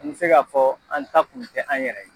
N bɛ se ka fɔ an ta kun tɛ an yɛrɛ ye.